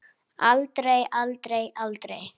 Aldrei, aldrei, aldrei!